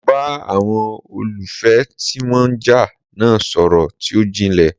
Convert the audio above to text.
Mo bá àwọn olólùfẹ́ ti wọ́n ń jà náà sọ̀rọl tí ó jinlè.